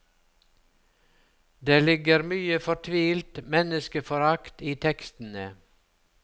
Det ligger mye fortvilt menneskeforakt i tekstene.